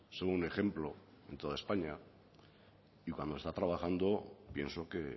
son un ejemplo en toda españa y cuando se está trabajando pienso que